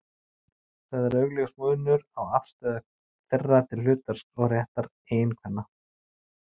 Þá er augljós munur á afstöðu þeirra til hlutverks og réttar eiginkvenna.